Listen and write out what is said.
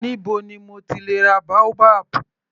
Níbo ni mo ti lè ra boabab.